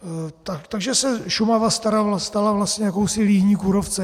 Takže se Šumava stala vlastně jakousi líhní kůrovce.